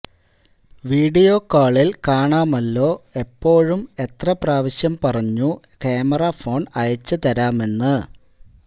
video കാളിൽ കാണാമല്ലോ എപ്പോഴും എത്ര പ്രാവശ്യം പറഞ്ഞു ക്യാമറ ഫോൺ അയച്ചു തരാമെന്ന്